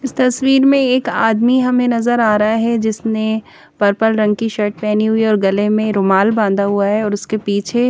इस तस्वीर में एक आदमी हमें नज़र आ रहा है जिसने पर्पल रंग की शर्ट पहनी है और गले में रुमाल बाँधा हुआ है और उसके पीछे--